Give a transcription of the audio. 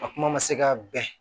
A kuma ma se ka bɛn